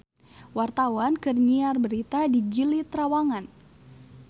Wartawan keur nyiar berita di Gili Trawangan